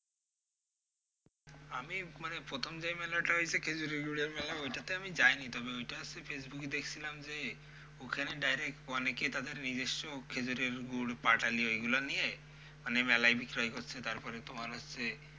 আমি মানে প্রথম যে মেলাটা হয়েছে খেঁজুরের গুড়ের মেলা ওইটাতে আমি যাইনি তবে ওইটা হচ্ছে ফেসবুকে দেখছিলাম যে ওখানে direct অনেকে তাদের নিজস্ব খেঁজুরের গুড় পাটালি ওইগুলো নিয়ে মানে মেলায় বিক্রয় করছে, তারপরে তোমার হচ্ছে,